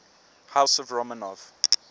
house of romanov